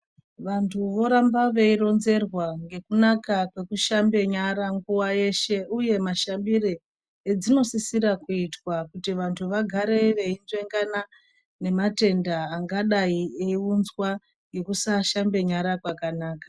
Vantu voramba vei ronzerwa ngekunaka kweku shambe nyara nguva yeshe uye ma shambire edzino sisira kuitwa kuti vantu vagare veyi nzvengana ne matenda angadai eyi unzwa ngekusa shambe nyara kwanaka.